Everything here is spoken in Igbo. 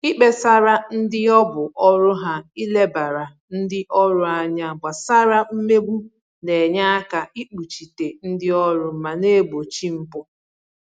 Ikpesara ndị ọ bụ ọrụ ha ilebara ndị ọrụ anya gbasara mmegbu na-enye aka ikpuchite ndị ọrụ ma na-egbochi mpụ